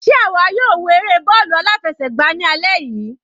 Sé àwa yóò wo eré bọ́ọ̀lù aláfẹsẹ̀gbá ní alẹ́ yìí?